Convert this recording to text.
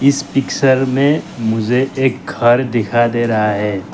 इस पिक्चर में मुझे एक घर दिखाई दे रहा है।